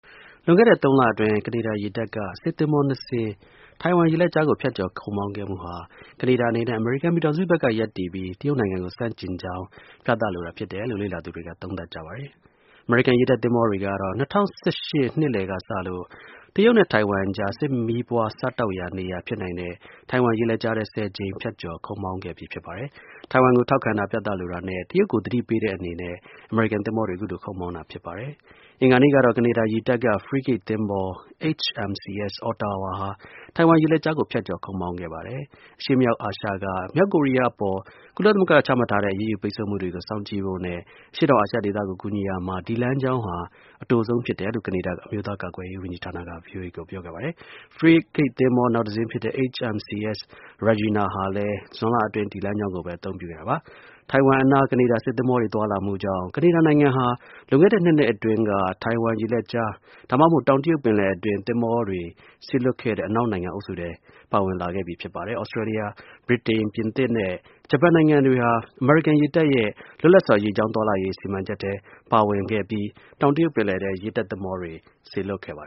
လွန်ခဲ့တဲ့ ၃ လအတွင်း ကနေဒါရေတပ်က စစ်သင်္ဘော ၂ စင်း ထိုင်ဝမ် ရေလက်ကြားကို ဖြတ်ကျော် ခုတ်မောင်းခဲ့မှုဟာ ကနေဒါအနေနဲ့ အမေရိကန် ပြည်ထောင်စုဘက်က ရပ်တည်ပြီး တရုတ်နိုင်ငံကို ဆန့်ကျင်တာကို ပြသလိုတာဖြစ်တယ်လို့ လေ့လာသူတွေက သုံးသပ်ကြပါတယ်။ အမေရိကန် ရေတပ်သင်္ဘောတွေကတော့ ၂၀၁၈ ခုနှစ်လယ်က စလို့ တရုတ်နဲ့ ထိုင်ဝမ်ကြား စစ်မီးပွား စတောက်ရာ နေရာဖြစ်နိုင်တဲ့ ထိုင်ဝမ် ရေလက်ကြားထဲ ၁၀ ကြိမ် ဖြတ်ကျော် ခုတ်မောင်းခဲ့ပြီဖြစ်ပါတယ်။ ထိုင်ဝမ်ကို ထောက်ခံတာ ပြသလိုတာနဲ့ တရုတ်ကို သတိပေးတဲ့အနေနဲ့ အခုလို ခုတ်မောင်းတာဖြစ်ပါတယ်။ အင်္ဂါနေ့ကတော့ ကနေဒါ ရေတပ်က ဖရီးဂတ်သင်္ဘော HMCS Ottawa ဟာ ထိုင်ဝမ် ရေလက်ကြားကို ဖြတ်ကျော်ခုတ်မောင်းခဲ့ပါတယ်။ အရှေ့မြောက်အာရှက မြောက်ကိုရီးယားအပေါ် ကုလသမဂ္ဂက ချမှတ်ထားတဲ့ အရေးယူ ပိတ်ဆို့မှုကို စောင့်ကြည့် ဖို့နဲ့ အရှေ့တောင်အာရှ ဒေသကို ကူညီရာမှာ ဒီ လမ်းကြောင်းဟာ အတိုဆုံး ဖြစ်တယ်လို့လ ကနေဒါ အမျိုးသား ကာကွယ်ရေး ဝန်ကြီးဌာနက ဗွီအိုအေကို ပြောပါတယ်။ဖရီးဂတ် သင်္ဘော နောက်တစ်စင်းဖြစ်တဲ့ HMCS Regian ဟာလည်း ဇွန်လအတွင်း ဒီ လမ်းကြောင်း ကိုပဲ အသုံးပြုခဲ့တာပါ။ ထိုင်ဝမ် အနား ကနေဒါ စစ်သင်္ဘောတွေ သွားလာမှုကြောင့် ကနေဒါနိုင်ငံဟာ လွန်ခဲ့တဲ့ ၂ နှစ်အတွင်းက ထိုင်ဝမ်ရေလက်ကြား ဒါမှမဟုတ် တောင်တရုတ်ပင်လယ်အတွင်း စေလွှတ်မှုတဲ့ အနောက်တိုင်းနိုင်ငံ အုပ်စုအထဲ ပါဝင်လာခဲ့ပြီဖြစ်ပါတယ်။ သြစတြေးလျ၊ ဗြိတိန်၊ ပြင်သစ်နဲ့ ဂျပန်နိုင်ငံတွေဟာ အမေရိကန် ရေတပ်ရဲ့ လွတ်လပ်စွာ ရေကြောင်း သွားလာရေး စီမံချက်ထဲ့ ပါဝင်ပြီး တောင်တရုတ်ပင်လယ်ထဲ ရေတပ် စစ်သင်္ဘောတွေ စေလွှတ်ခဲ့ပါ